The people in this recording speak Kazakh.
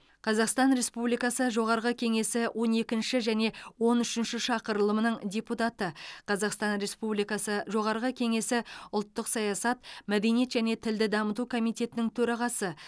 қазақстан республикасы жоғарғы кеңесі он екінші және он үшінші шақырылымының депутаты қазақстан республикасы жоғарғы кеңесі ұлттық саясат мәдениет және тілді дамыту комитетінің төрағасы